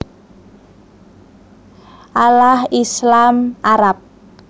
Allah Islam/Arab